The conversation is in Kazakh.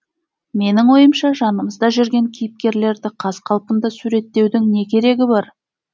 менің ойымша жанымызда жүрген кейіпкерлерді қаз қалпында суреттеудің не керегі бар